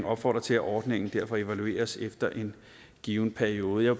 opfordrer til at ordningen derfor evalueres efter en given periode jeg